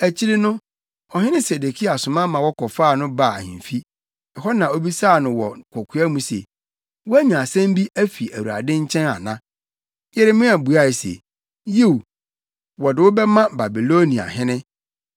Akyiri no, ɔhene Sedekia soma ma wɔkɔfaa no baa ahemfi, ɛhɔ na obisaa no wɔ kokoa mu se, “Woanya asɛm bi afi Awurade nkyɛn ana?” Yeremia buae se, “Yiw, wɔde wo bɛma Babiloniahene.”